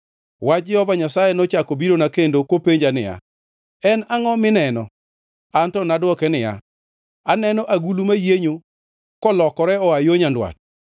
Wach Jehova Nyasaye nochako birona kendo kopenjo niya, “En angʼo mineno?” Anto ne adwoke niya, “Aneno agulu mayienyo, kolokore oa yo nyandwat.”